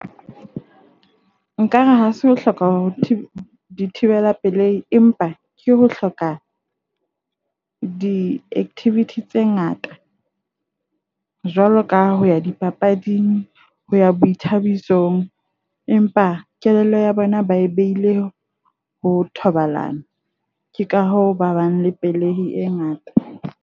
Nkare ha se hloka ho thibela pelei empa ke ho hloka di-activity tse ngata, jwalo ka ho ya dipapading. Ho ya boithabisong, empa kelello ya bona ba e behile ho thobalano. Ke ka hoo ba bang le pelei e ngata.